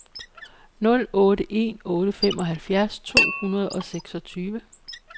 nul otte en otte femoghalvfjerds to hundrede og seksogtyve